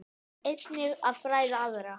Einnig að fræða aðra.